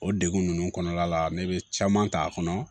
O degun ninnu kɔnɔna la ne bɛ caman k'a kɔnɔ